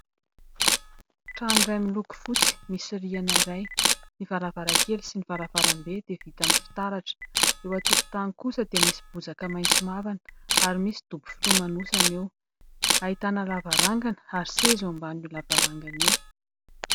Trano iray miloko fotsy, misy rihana iray, ny varavarankely sy ny varavarambe dia vita amin'ny fitaratra. Eo an-tokotany kosa dia misy bozaka maitso mavana, ary misy dobo filomanosana eo. Ahitana lavarangana ary seza eo ambanin'io lavarangana io.